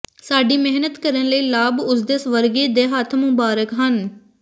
ਸਾਡੀ ਮਿਹਨਤ ਕਰਨ ਲਈ ਲਾਭ ਉਸ ਦੇ ਸਵਰਗੀ ਦੇ ਹੱਥ ਮੁਬਾਰਕ ਹਨ